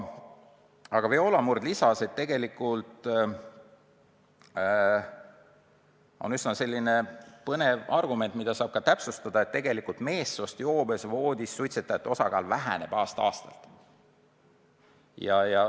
Viola Murd lisas, et tegelikult on üsna selline huvitav fakt, et joobes meestest voodis suitsetajate osakaal väheneb aasta-aastalt.